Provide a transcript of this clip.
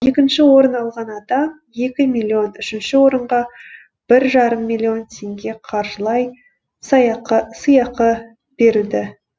екінші орын алған адам екі миллион үшінші орынға бір жарым миллион теңге қаржылай сыйақы берілді